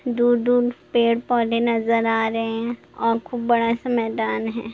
दूर-दूर पेड़-पौधे नजर आ रहे हैं और खूब बड़ा-सा मैदान है।